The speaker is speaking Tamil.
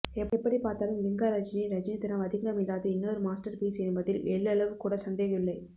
எப்படி பார்த்தாலும் லிங்கா ரஜினியின் ரஜினித்தனம் அதிகமில்லாத இன்னொரு மாஸ்டர் பீஸ் என்பதில் எள்ளளவு கூட சந்தேகம் இல்லை